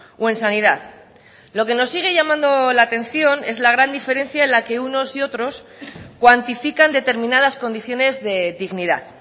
o en sanidad lo que nos sigue llamando la atención es la gran diferencia en la que unos y otros cuantifican determinadas condiciones de dignidad